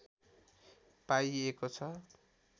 पाइएको छ